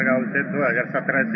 My name is Santosh Jadhav